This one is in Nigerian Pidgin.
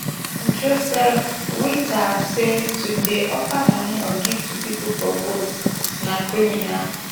joseph whittal say to dey offer moni or gifts to pipo for votes na criminal